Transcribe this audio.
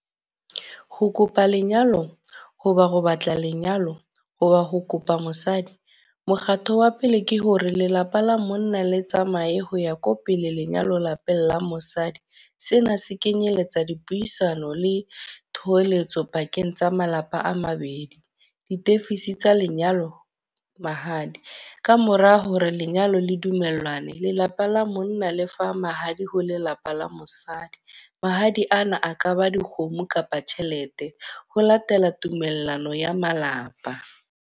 Ho kopa lenyalo, ho ba ho batla lenyalo, ho ba ho kopa mosadi. Mokgatho wa pele ke hore lelapa la monna le tsamaye ho ya ko pele lenyalo lapeng la mosadi. Sena se kenyeletsa dipuisano le thoholetso pakeng tsa malapa a mabedi. Ditefisi tsa lenyalo, mahadi. Ka mora hore lenyalo le di dumellane, lelapa la monna lefa mahadi ho lelapa la mosadi. Mahadi ana a ka ba dikgomo kapa tjhelete. Ho latela tumellano ya malapa.